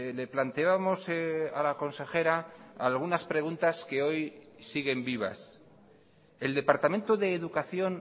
le planteábamos a la consejera algunas preguntas que hoy siguen vivas el departamento de educación